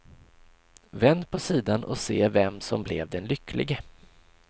Vänd på sidan och se vem som blev den lycklige.